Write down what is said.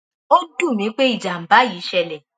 ó dùn mí pé ìjàmbá yìí ṣẹlẹ